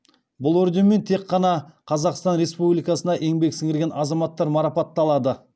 бұл орденмен тек қана қазақстан республикасына еңбек сіңірген азаматтар марапатталады